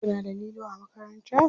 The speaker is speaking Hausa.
Kuna da lilo a makaranta?